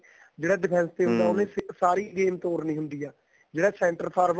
ਜਿਹੜਾ defense ਹੁੰਦਾ ਉਹਨੇ ਸਾਰੀ game ਤੋਰਨੀ ਹੁੰਦੀ ਏ ਜਿਹੜਾ center forward